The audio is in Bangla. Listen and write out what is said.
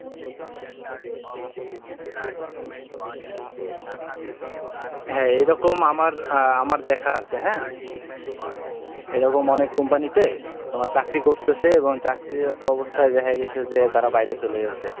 হ্যাঁ এইরকম আমার, আমার দেখা আছে হ্যাঁ? এরকম অনেক Company তে তোমার চাকরি করতেছে, এবং চাকরিরত অবস্থায় দেখা গেছে যে তারা বাইরে চলে গেছে।